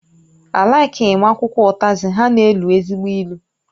Á laikighi m akwụkwọ ụtazi, ha na-elu ezigbo ilu